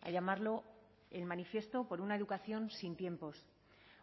a llamarlo el manifiesto por una educación sin tiempos